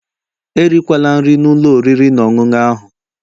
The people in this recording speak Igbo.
Erikwala nri na ụlọ oriri na ọṅụṅụ ahu